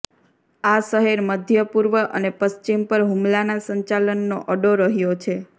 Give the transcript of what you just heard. આ શહેર મધ્યપૂર્વ અને પશ્ચિમ પર હુમલાના સંચાલનનો અડ્ડો રહ્યો છે